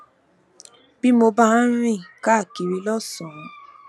bí mo bá ń rìn káàkiri lósànán